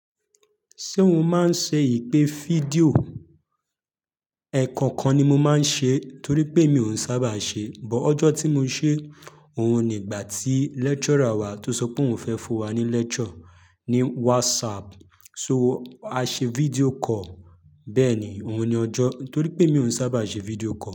Ṣé òun máa ń ṣe ìpe fídíò? Ẹ̀ẹ̀kan kan ni mo máa ń ṣe é torí pé mi ò ń sábà ṣe é, but ọjọ́ tí mo ṣe òun ni ìgbà tí lecturer wa tó sọ pé òun fẹ́ fún wa ní lecture ní WhatsApp, so a ṣe video call. Bẹ́ẹ̀ ni, òun ni ọjọ́ torí pé mi ò sábà ṣe video call.